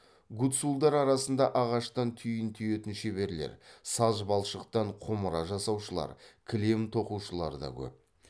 гуцулдар арасында ағаштан түйін түйетін шеберлер саз балшықтан құмыра жасаушылар кілем тоқушылар да көп